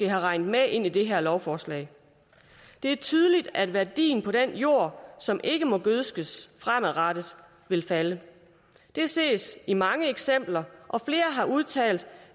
har regnet med ind i det her lovforslag det er tydeligt at værdien af den jord som ikke må gødskes fremadrettet vil falde det ses i mange eksempler og flere har udtalt